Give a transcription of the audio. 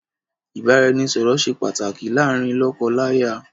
Ìbáraẹnisọ̀rọ̀ ṣe pàtàkì láàárín lọ́kọ láya